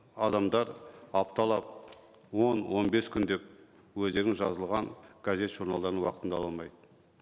адамдар апталап он он бес күндеп өздерінің жазылған газет журналдарын уақытында ала алмайды